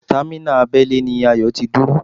Támínà abẹ́lé ni Ayọ̀ ti dúró